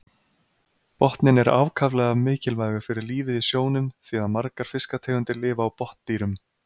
Botninn er ákaflega mikilvægur fyrir lífið í sjónum því að margar fiskategundir lifa á botndýrum.